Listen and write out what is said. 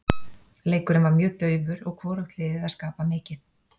Leikurinn var mjög daufur og hvorugt liðið að skapa mikið.